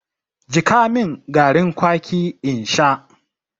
Jiƙa mun garin kwaki in sha!